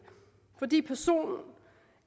fordi personen